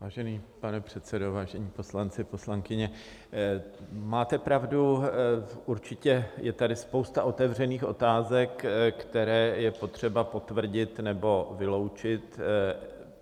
Vážený pane předsedo, vážení poslanci, poslankyně, máte pravdu, určitě je tady spousta otevřených otázek, které je potřeba potvrdit nebo vyloučit.